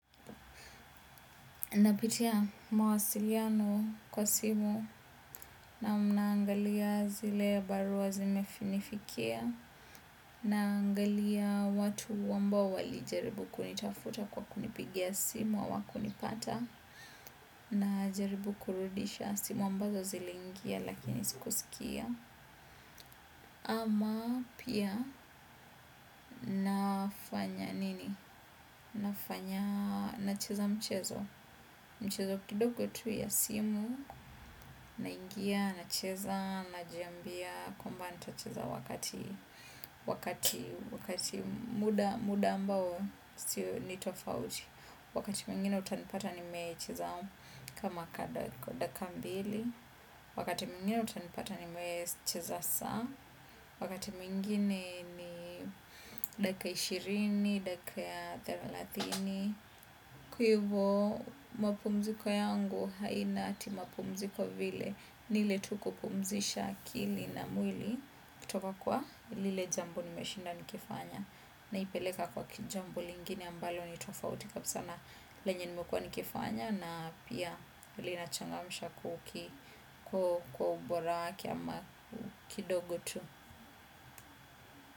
Napitia mawasiliano kwa simu naam naangalia zile barua zimefinifikia naangalia watu ambao walijaribu kunitafuta kwa kunipigia simu hawakunipata najaribu kurudisha simu ambazo ziliingia lakini sikusikia. Ama pia nafanya nini. Nafanya nacheza mchezo. Mchezo kidogo tu ya simu. Naingia nacheza najiambia kwamba nitacheza wakati wakati muda muda ambao sio ni tofauti. Wakati mwingine utanipata nimecheza. Kama kada kwa dakika mbili wakati mwingine utanipata nimecheza saa wakati mwingine ni dakika ishirini, dakika thelathini, kwaivyo mapumziko yangu haina ti mapumziko vile niile tu kupumzisha akili na mwili kutoka kwa lile jambo nimeshinda nikifanya. Naipeleka kwa kijambo lingine ambalo ni tofauti kabisa na lenye nimekuwa nikifanya na pia linachangamsha kuki kwa ubora wake ama kidogo tu.